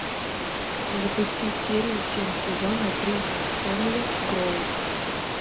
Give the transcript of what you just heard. запусти серию семь сезона три хемлок гроув